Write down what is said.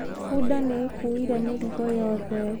Bunda nĩ ĩkuuire mĩrigo yothe